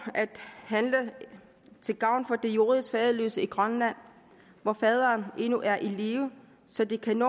at handle til gavn for de juridisk faderløse i grønland hvor faderen endnu er i live så de kan